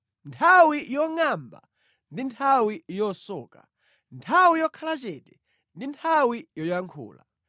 Nthawi yongʼamba ndi nthawi yosoka, nthawi yokhala chete ndi nthawi yoyankhula.